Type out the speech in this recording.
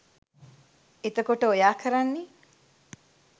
එතකොට ඔයා කරන්නේ